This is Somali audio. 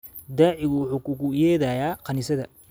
Daacigu wuxuu kuugu yeedhayaa kaniisadda